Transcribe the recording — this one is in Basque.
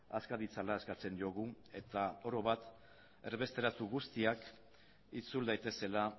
aska ditzala eskatzen diogu eta oro bat erbesteratu guztiak itzul daitezela